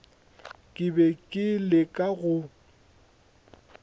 ke be ke leka go